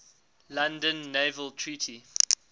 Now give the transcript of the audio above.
london naval treaty